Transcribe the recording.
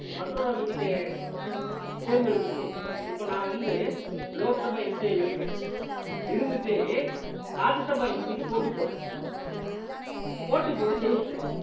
மற்றொரு அவைக்கு தே~ தேர்ந்தெடுக்கும் போது இப்ப நான் வந்து லோக்சபா MP யா இருக்கேன் இருந்துட்டே ராஜ்ய சபா MP க்கு போட்டி போடுறேன் போட்டி போட்டு ஜெயிச்சுட்டேன்